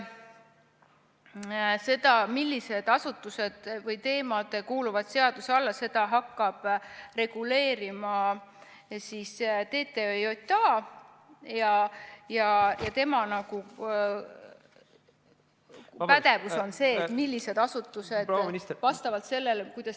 Seda, millised asutused või teemad kuuluvad seaduse alla, seda hakkab reguleerima TTJA, ja tema pädevus on see, millised asutused vastavalt sellele, kuidas ...